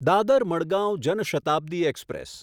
Dadar Madgaon Jan Shatabdi express